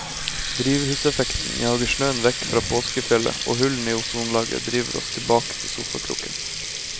Drivhuseffekten jager snøen vekk fra påskefjellet og hullene i ozonlaget driver oss tilbake til sofakroken.